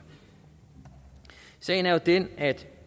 sagen er jo den at